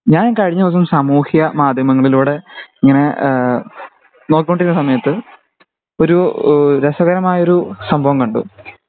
ഞാൻ കഴിഞ്ഞ ദിവസം സമൂഹ്യ മാധ്യമങ്ങളിലൂടെ ഇങ്ങനെ ഇഹ് നോക്കിക്കൊണ്ടിരുന്ന സമയത്ത് ഒരു രസകരമായ ഒരു സംഭവം കണ്ടു